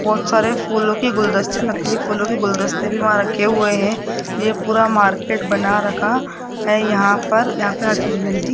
बहोत सारे फूलों के गुलदस्ते नकली फूलों के गुलदस्ते भी वहां रखे हुए हैं ये पूरा मार्केट बना रखा है यहां पर यहां पे हर चीज मिलती --